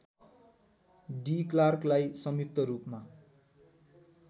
D क्लार्कलाई संयुक्तरूपमा